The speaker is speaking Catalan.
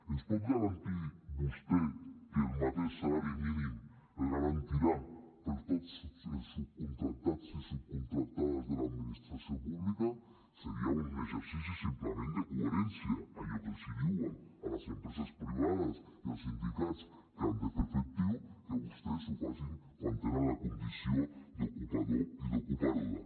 ens pot garantir vostè que el mateix salari mínim es garantirà per tots els subcontractats i subcontractades de l’administració pública seria un exercici simplement de coherència allò que els diuen a les empreses privades i als sindicats que han de fer efectiu que vostès ho facin quan tenen la condició d’ocupador i d’ocupadora